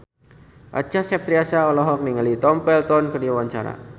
Acha Septriasa olohok ningali Tom Felton keur diwawancara